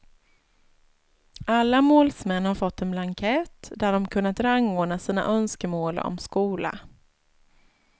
Alla målsmän har fått en blankett där de kunnat rangordna sina önskemål om skola.